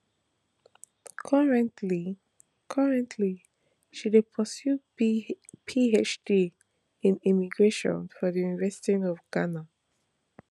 currently currently she dey pursue phd in migration for di university of ghana